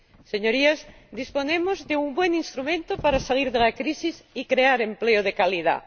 Señorías, disponemos de un buen instrumento para salir de la crisis y crear empleo de calidad.